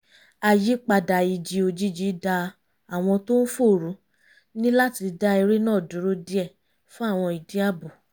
àyípadà ìjì òjijì da àwọn ohun tó ń fò rú níláti dá eré náà dúró díẹ̀ fún àwọn ìdí ààbò